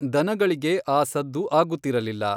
ದನಗಳಿಗೆ ಆ ಸದ್ದು ಆಗುತ್ತಿರಲಿಲ್ಲ.